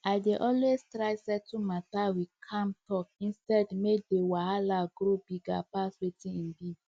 i dey always try settle matter with calm talk instead make the wahala grow bigger pass wetin e be